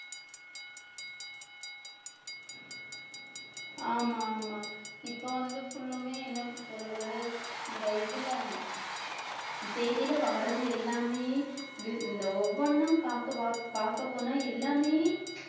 ஆமா ஆமா இப்ப வந்து full உமே என்ன சொல்றது இந்த இதுல செய்தியில வாரது எல்லாமே இந்~ இந்த ஒவ்வொண்ணும் பார்க்கப் பார்க்க~ பார்க்கப் போனா எல்லாமே